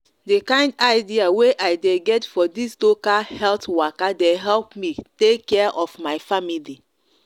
de kind idea wey i de get for this local health waka de help me take care of my family